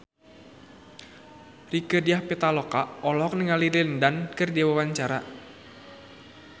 Rieke Diah Pitaloka olohok ningali Lin Dan keur diwawancara